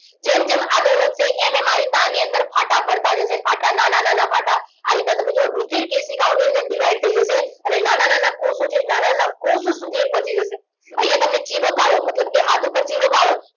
જેમ જેમ આગળ વધશે એમ એમ આ રીતના આની અંદર ફાટા પાડતા જશે ફાટા નાના નાના ફાટા આ રીતના તમે જુઓ રુધિરકેશિકાઓ ની અંદર divide થઈ જશે અને નાના નાના કોષો છે નાના નાના કોષો સુધી એ પહોંચી જશે અહીંયા તમે ચિરો પાડો મતલબ કે હાથ પર ચિરો પાડો